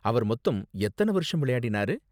அவர் மொத்தம் எத்தன வருஷம் விளையாடினாரு?